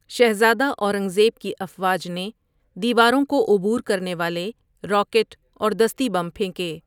شہزادہ اورنگ زیب کی افواج نے دیواروں کو عبور کرنے والے راکٹ اور دستی بم پھینکے۔